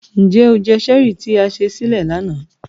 Njẹ o jẹ Cherie ti a se sile lana?